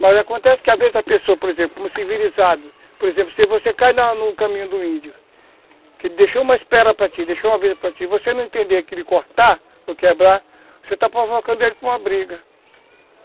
Mas acontece que a vez da pessoa, por exemplo, como civilizado, por exemplo, se você cai na no caminho do índio, que ele deixou uma espera para ti, deixou uma vida para ti, você não entender que ele cortar ou quebrar, você está provocando ele para uma briga.